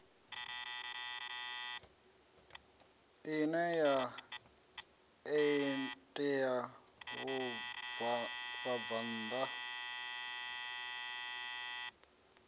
ine ya ṋea vhabvann ḓa